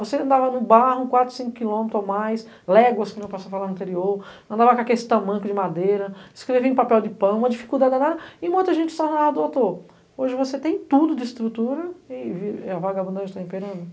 Você andava no barro, quatro ou cinco quilômetro ou mais, léguas, como eu posso falar no interior, andava com aqueles tamanco de madeira, escrevia em papel de pão, uma dificuldade danada, e muita gente só falava, doutor, hoje você tem tudo de estrutura, e e e a vagabundagem está imperando.